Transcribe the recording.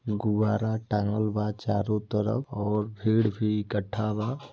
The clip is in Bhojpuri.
गुबारा टाँगल बा चारों तरफ और भीड़ भी इकट्ठा बा |